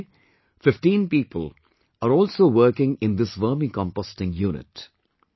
Today 15 people are also working in this Vermicomposting unit